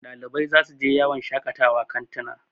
Ɗalibai za su je yawon shakawa kantina